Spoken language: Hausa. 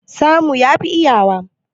Samu yafi iyawa.